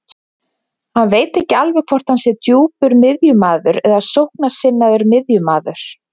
Hann veit ekki alveg hvort hann sé djúpur miðjumaður eða sóknarsinnaður miðjumaður.